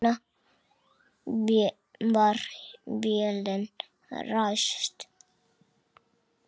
Svo var vélin ræst.